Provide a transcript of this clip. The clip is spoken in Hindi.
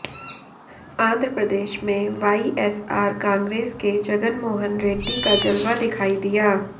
आंध्र प्रदेश में वाईएसआर कांग्रेस के जगनमोहन रेड्डी का जलवा दिखाई दिया